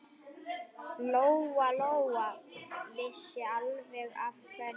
Lóa-Lóa vissi alveg af hverju.